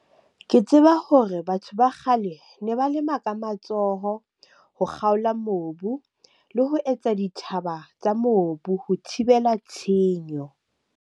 Ke tseba hore batho ba kgale ne ba lema ka matsoho, ho kgaola mobu le ho etsa dithaba tsa mobu ho thibela tshenyo.